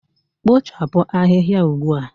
Kpochapụ ahịhịa ugbu a